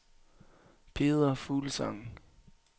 Peder Fuglsang